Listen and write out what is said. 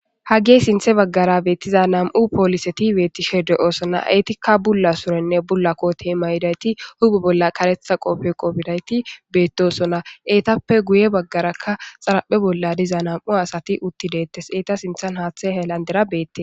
hage sinthe baggara beettiza nam7u poolise ti beettishe de7oosona eetikka bulla surenne bullakkotiema yidayti hube bolla karetha qofe qofidayti beettosona eetappe guye baggarakka xaraphe bolla diza nam7u asati utti deettes eeta sinthan haathe helandera beette.